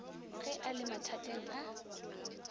ge a le mathateng a